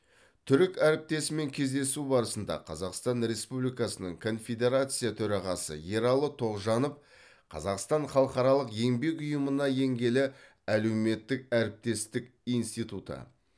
түрік әріптесімен кездесу барысында қазақстан республикасының конфедерация төрағасы ералы тоғжанов қазақстан халықаралық еңбек ұйымына енгелі әлеуметтік әріптестік институты